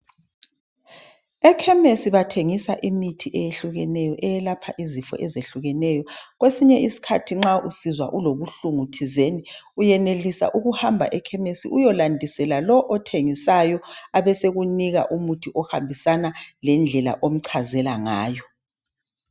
Ekhemisi bathengisa imithi eyehlukeneyo elapha izifo ezehlukeneyo. Kwesinye isikhathi nxa usizwa ulobuhlungu thizeni uyenelisa ukuhamba ekhemisi uyolandisela lo othengisayo abesekunika umuthi ohambisana lendlela omchazela ngayo.